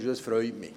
Das freut mich.